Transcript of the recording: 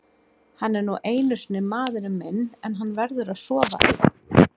Hann er nú einu sinni maðurinn minn en hann verður að sofa einn.